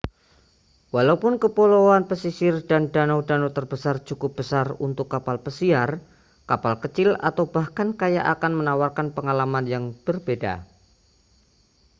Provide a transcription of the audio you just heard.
walau kepulauan pesisir dan danau-danau terbesar cukup besar untuk kapal pesiar kapal kecil atau bahkan kayak akan menawarkan pengalaman yang berbeda